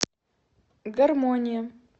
гармония